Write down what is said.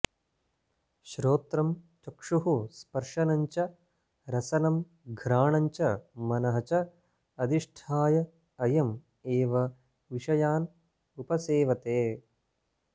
श्रोत्रं चक्षुः स्पर्शनं च रसनं घ्राणं च मनः च अधिष्ठाय अयम् एव विषयान् उपसेवते